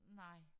Nej